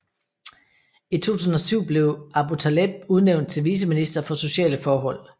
I 2007 blev Aboutaleb udnævnt til viceminister for sociale forhold